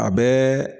A bɛɛ